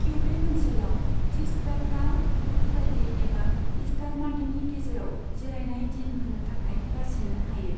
Quebec ओनसोलाव, थिसग्राफ्रा good Friday एबा ईस्टार मानदेनि गेजेराव जिरायनाय दिन होनो थाखाय बासिनो हायो।